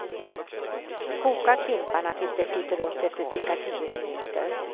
Koka klimparna tills de flyter upp efter cirka tio minuter.